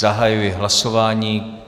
Zahajuji hlasování.